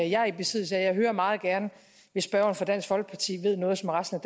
jeg er i besiddelse jeg hører meget gerne hvis spørgeren fra dansk folkeparti ved noget